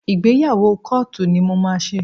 Ìgbéyàwó kóòtù ni mo máa ṣe